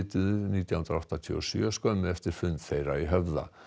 nítján hundruð áttatíu og sjö skömmu eftir fund þeirra í Höfða